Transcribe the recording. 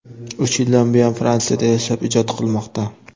Uch yildan buyon Fransiyada yashab, ijod qilmoqda.